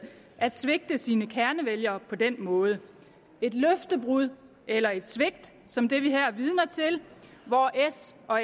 at svigte sine kernevælgere på den måde et løftebrud eller et svigt som det vi her er vidner til hvor s og